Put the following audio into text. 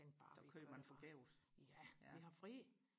så kørte man forgæves